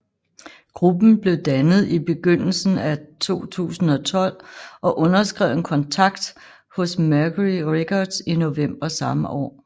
Gruppen blev dannet i begyndelsen af 2012 og underskrev en kontakt hos Mercury Records i november samme år